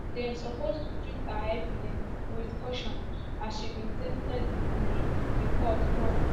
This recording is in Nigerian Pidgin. dem suppose to treat her evidence wit caution as she be tainted witness di court tok